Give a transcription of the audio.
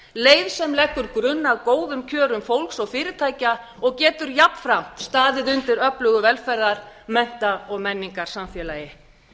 leið sem leggur grunn að góðum kjörum fólks og fyrirtækja og getur jafnframt staðið undir öflugu velferðar mennta og menningarsamfélagi